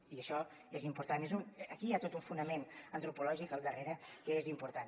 i això és important aquí hi ha tot un fonament antropològic al darrere que és important